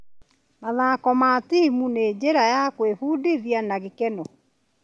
Mathako ma timu nĩ njĩra ya gwĩbundithia na gĩkeno.